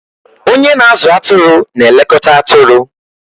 Onye na-azụ atụrụ na-elekọta atụrụ.